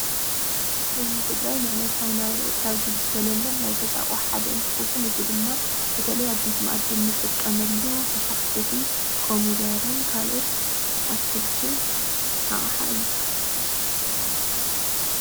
ህዝቢ ትግራይ ንዕለታዊ ናብርኡ ካብ ዝግልገለሎም ናይ ገዛ አቑሑ ሓደ እንትኸዉን እዚ ድማ በተለይ ኣብ ቤት መኣዲ እንጥቀመሉ መፋሕፍሒ ኮሚደረን ካልኦት አትክልትን አቕሓ እዩ።